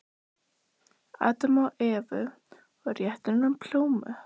Adam og Evu og rétti honum plómu.